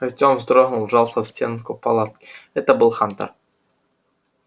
артем вздрогнул и вжался в стенку палатки это был хантер